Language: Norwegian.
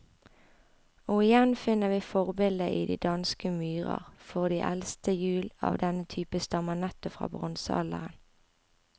Og igjen finner vi forbildet i de danske myrer, for de eldste hjul av denne type stammer nettopp fra bronsealderen.